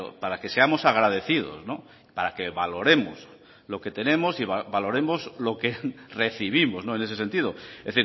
para que seamos agradecidos para que valoremos lo que tenemos y valoremos lo que recibimos en ese sentido es